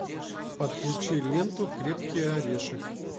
подключи ленту крепкий орешек